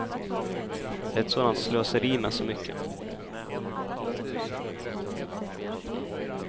Det är ett sådant slöseri med så mycket.